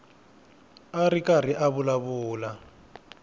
a ri karhi a vulavula